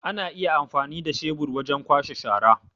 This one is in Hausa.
Ana iya amfani da shebur wajen kwashe shara.